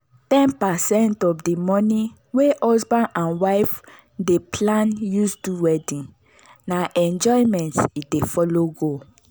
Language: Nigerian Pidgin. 10 percent of the money wey husban and wife dey plan use do wedding na enjoyment e dey follow go.